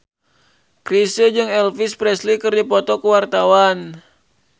Chrisye jeung Elvis Presley keur dipoto ku wartawan